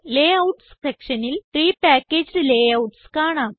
layouts സെക്ഷനിൽ pre packaged layouts കാണാം